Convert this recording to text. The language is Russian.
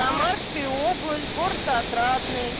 самарская область город отрадный